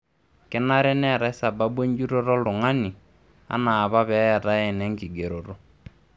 Kenare neetai sababu enjutoto oltungani anaa apa peetai enenkigeroto.